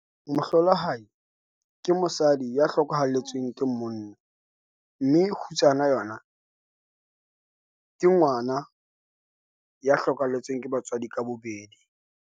Mohlolohadi ke mosadi ya hlokahalletsweng ke monna, mme kgutsana yona ke ngwana ya hlokahalletsweng ke batswadi ka bobedi.